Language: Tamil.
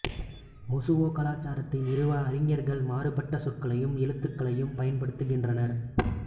மொசுவோ கலாச்சாரத்தை நிறுவ அறிஞர்கள் மாறுபட்ட சொற்களையும் எழுத்துகளையும் பயன்படுத்துகின்றனர்